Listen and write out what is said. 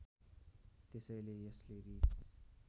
त्यसैले यसले रिस